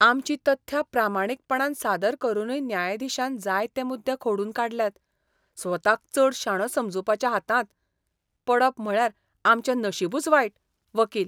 आमचीं तथ्यां प्रामाणीकपणान सादर करूनय न्यायाधीशान जायते मुद्दे खोडून काडल्यात. स्वताक चड शाणो समजूप्याच्या हातांत पडप म्हळ्यार आमचें नशीबच वायट. वकील